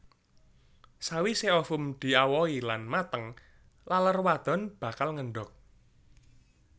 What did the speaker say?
Sawisé ovum diawohi lan mateng laler wadon bakal ngendhog